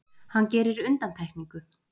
Hann gerir undantekningu.